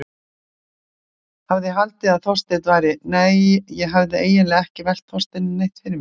Hafði haldið að Þorsteinn væri- nei, ég hafði eiginlega ekki velt Þorsteini neitt fyrir mér.